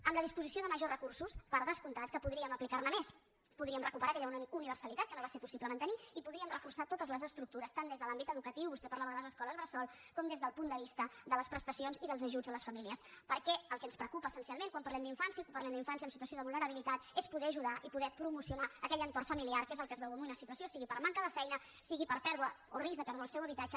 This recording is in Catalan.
amb la disposició de majors recursos per descomptat que podríem aplicar ne més podríem recuperar aquella universalitat que no va ser possible mantenir i podríem reforçar totes les estructures tant des de l’àmbit educatiu vostè parlava de les escoles bressol com des del punt de vista de les prestacions i dels ajuts a les famílies perquè el que ens preocupa essencialment quan parlem d’infància i quan parlem d’infància en situació de vulnerabilitat és poder ajudar i poder promocionar aquell entorn familiar que és el que es veu en una situació sigui per manca de feina sigui per pèrdua o risc de perdre el seu habitatge